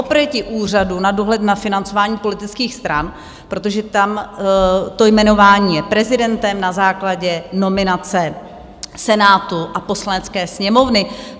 Oproti Úřadu na dohled nad financováním politických stran, protože tam to jmenování je prezidentem na základě nominace Senátu a Poslanecké sněmovny.